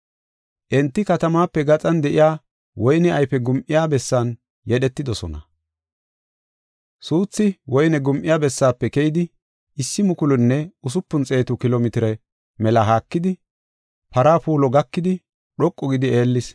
Enti Katamaape gaxan de7iya woyne ayfe gum7iya bessan yedhetidosona. Suuthi woyne gum7iya bessaafe keyidi issi mukulunne usupun xeetu kilo mitire mela haakidi, para puulo gakidi, dhoqu gidi eellis.